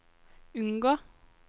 unngå